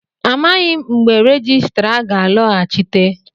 Amaghị m mgbe onye rejistra ga-alọghachite